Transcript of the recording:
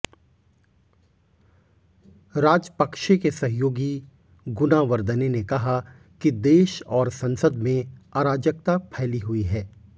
राजपक्षे के सहयोगी गुनावर्दने ने कहा कि देश और संसद में अराजकता फैली हुई है